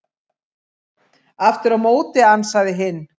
Aftur á móti ansaði hinn: